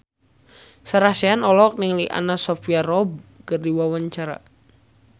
Sarah Sechan olohok ningali Anna Sophia Robb keur diwawancara